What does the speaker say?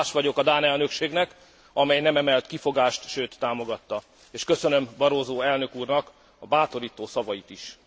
Hálás vagyok a dán elnökségnek, amely nem emelt kifogást, sőt támogatta, és köszönöm Barroso elnök úrnak a bátorító szavait is.